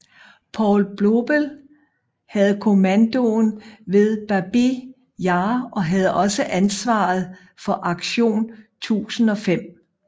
Paul Blobel havde kommandoen ved Babij Jar og havde også ansvaret for Aktion 1005